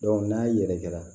n'a yɛrɛkɛra